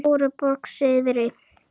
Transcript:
Stóruborg syðri